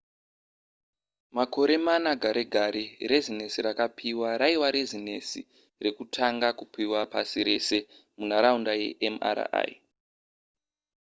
makore mana gare gare rezinesi rakapiwa raiva rezinesi rekutanga kupiwa pasi rese munharaunda yemri